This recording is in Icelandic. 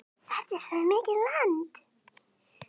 Þarftu svona mikið land?